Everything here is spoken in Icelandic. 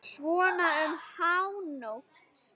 Svona um hánótt.